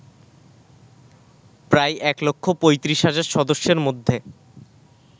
প্রায় এক লক্ষ ৩৫ হাজার সদস্যের মধ্যে